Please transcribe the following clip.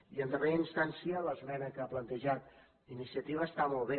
i en darrera instància l’esmena que ha planteja iniciativa està molt bé